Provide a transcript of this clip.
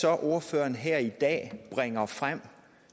så ordføreren her i dag bringer frem